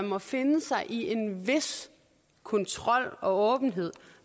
må finde sig i en vis kontrol og åbenhed